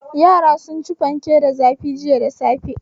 Yara sun ci fanke da zafi jiya da safe.